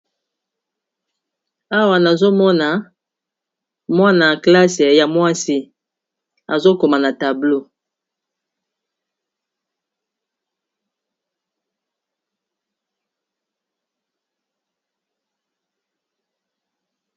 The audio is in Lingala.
awa nazomona mwana classe ya mwasi azokoma na tablo